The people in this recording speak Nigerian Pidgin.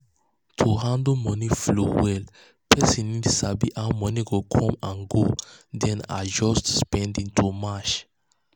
to handle money flow well person need sabi how money go come and go then adjust spending to match.